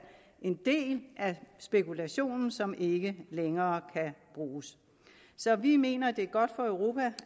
en del af spekulationen som ikke længere kan bruges så vi mener at det er godt for europa